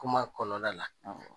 Kuma kɔnɔna la